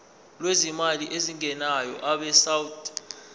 lwezimali ezingenayo abesouth